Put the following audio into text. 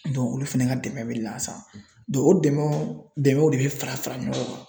olu fɛnɛ ka dɛmɛ bɛ lasa o dɛmɛ dɛmɛw de bɛ fara fara ɲɔgɔn kan.